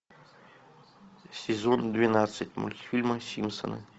сезон двенадцать мультфильма симпсоны